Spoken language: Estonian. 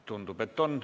Tundub, et on.